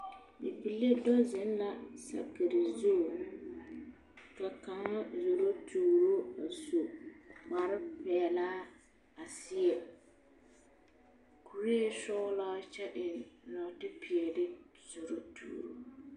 Bibile do zeŋ la sakiri zu ka kaŋa zoro tuuro a su kpare peɛlaa a seɛ kuree sɔgelaa kyɛ eŋ nɔɔte peɛle a zoro tuuro.